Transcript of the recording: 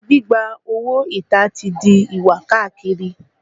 Gbígba owó ìta ti di ìwà káàkiri